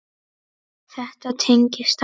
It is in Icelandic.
Þetta tengist allt.